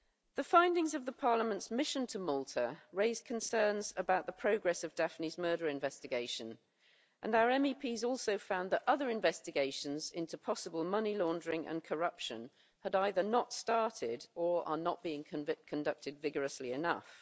The findings of the Parliament's mission to Malta raise concerns about the progress of Daphne's murder investigation, and our MEPs also found that other investigations into possible money laundering and corruption had either not started or are not being conducted vigorously enough.